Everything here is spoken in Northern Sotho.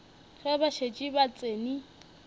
ge ba šetše ba tsene